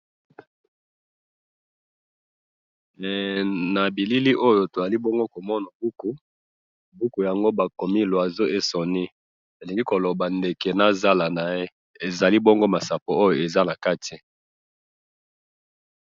na bilili oyo tozali bongo komona buku buku yango bakomi l'oiseau et son nid elingi koloba ndeke nazala naye ezali bongo masapo ezali bongo nakati